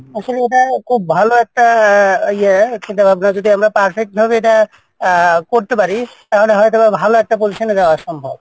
আসলে ওটা খুব ভালো একটা ইয়ে হচ্ছে যদি আমরা এটা perfect ভাবে আহ করতে পারি তাহলে হয়তোবাঁ ভালো একটা position এ যাওয়া সম্ভব।